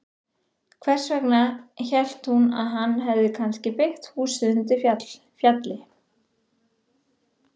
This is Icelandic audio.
Þess vegna hélt hún að hann hefði kannski byggt húsið undir fjalli.